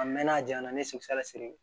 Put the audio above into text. A mɛnna a janya na ne ye siri